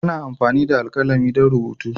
Ana amfani da alkalami don rubutu.